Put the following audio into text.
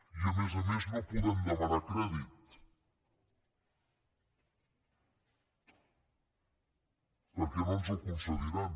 i a més a més no podem demanar crèdit perquè no ens el concediran